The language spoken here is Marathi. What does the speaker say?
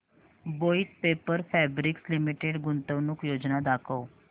वोइथ पेपर फैब्रिक्स लिमिटेड गुंतवणूक योजना दाखव